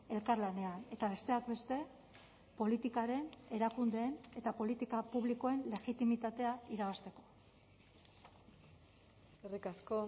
elkarlanean eta besteak beste politikaren erakundeen eta politika publikoen legitimitatea irabazteko eskerrik asko